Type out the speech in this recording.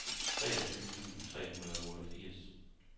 treogtyve tusind tre hundrede og otteogfirs